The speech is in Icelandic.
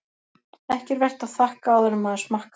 Ekki er vert að þakka áður en maður smakkar.